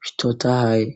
bitotahaye.